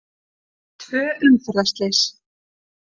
Tvö umferðarslys